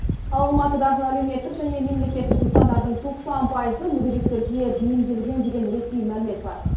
ал алматыдағы әлеуметтік және мемлекеттік нысандардың тоқсан пайызы мүгедектерге бейімделген деген ресми мәлімет бар